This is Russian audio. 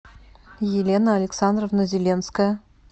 елена александровна зеленская